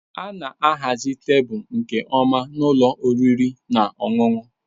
A na-ahazi tebụl nke ọma na ụlọ oriri na ọṅụṅụ.